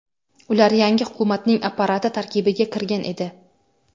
Ular yangi hukumatning apparati tarkibiga kirgan edi.